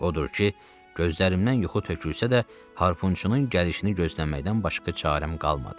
Odur ki, gözlərimdən yuxu tökülsə də, harpunçunun gəlişini gözləməkdən başqa çarəm qalmadı.